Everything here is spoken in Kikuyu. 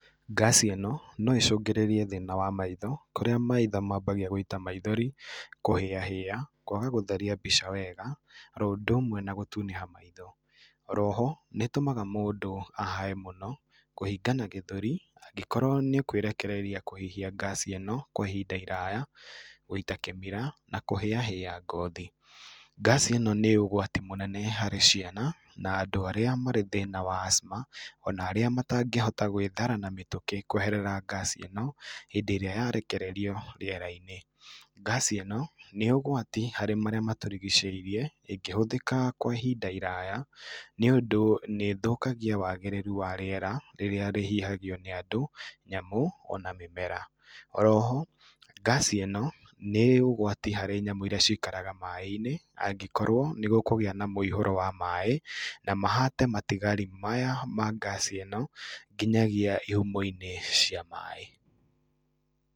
Gasi ĩno no ĩcũngĩrĩrie thĩna wa maitho kũrĩa maitho mambagia gũita maithori, kũhĩahĩa, kwaga gũtheria mbica wega oro ũndũ ũmwe na gũtunĩha maitho. Oroho nĩĩtũmaga mũndũ ahae mũno, kũhingana gĩthũri angĩkorwo nĩekwirekereria kũhihia gasi ĩno kwa ihinda iraya, gũita kĩmira na kũhĩahĩa ngothi. Gasi ĩno nĩ ũgwati mũnene harĩ ciana na andũ arĩa marĩ thĩna wa asthma ona arĩa matangĩhota gwĩthara na mĩtũkĩ kweherera gasi ĩno hĩndĩ ĩrĩa yarekererio rĩera-inĩ. Gasi ĩno nĩ ũgwati harĩ marĩa matũrigicĩirie ĩngĩhũthĩka kwa ihinda iraya, nĩũndũ nĩĩthũkagia wagĩrĩru wa rĩera rĩrĩa rĩhihagio nĩ andũ, nyamũ ona mĩmera. Oroho, gasi ĩno nĩ ũgwati harĩ nyamũ iria ciikaraga maĩĩ-inĩ angĩkorwo nĩgũkũgĩa na mũihũro wa maĩĩ na mahate matigari maya ma gasi ĩno nginyagia ihumo-inĩ cia maĩĩ.